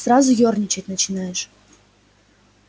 сразу ёрничать начинаешь